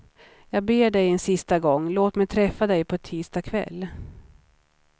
Jag ber dig en sista gång, låt mig träffa dig på tisdag kväll.